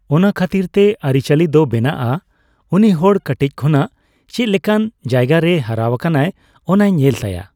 ᱚᱱᱟ ᱠᱷᱟᱹᱛᱤᱨ ᱛᱮ ᱟᱹᱚᱪᱟᱞᱤ ᱫᱚ ᱵᱮᱱᱟᱜᱼᱟ᱾ ᱩᱱᱤ ᱦᱚᱲ ᱠᱟᱹᱴᱤᱡ ᱠᱷᱚᱱᱟᱜ ᱪᱮᱫᱞᱮᱠᱟᱱ ᱡᱟᱭᱜᱟ ᱨᱮᱭ ᱦᱟᱨᱟᱣᱟᱠᱟᱱᱟ ᱚᱱᱟᱭ ᱧᱮᱞ ᱛᱟᱭᱟ᱾